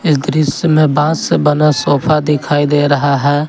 दृश्य में बांस से बना सोफा दिखाई दे रहा है।